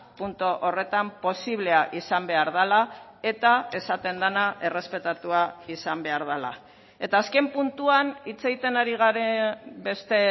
puntu horretan posiblea izan behar dela eta esaten dena errespetatua izan behar dela eta azken puntuan hitz egiten ari garen beste